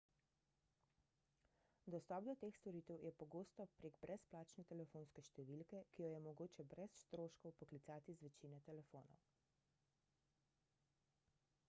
dostop do teh storitev je pogosto prek brezplačne telefonske številke ki jo je mogoče brez stroškov poklicati z večine telefonov